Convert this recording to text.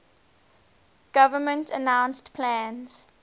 government announced plans